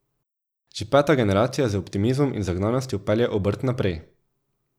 Že peta generacija z optimizmom in zagnanostjo pelje obrt naprej.